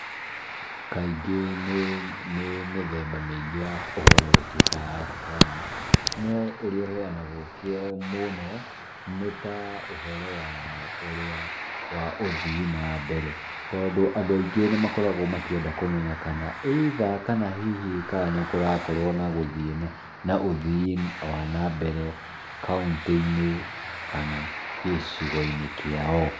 Kaingĩ nĩ nĩ mĩthemba mĩingĩ ya ũhoro ĩtuĩkaga ya kũheana. No ũrĩa ũheanagwo mũno nĩta ũhoro wa ũrĩa wa ũthii na mbere. Tondũ andũ aingĩ nĩmakoragwo makĩenda kũmenya kana either kana hihi nĩkũrakorwo na gũthiĩ na mbere, na ũthii wa nambere kauntĩ-inĩ kana gĩcigo-inĩ kĩao .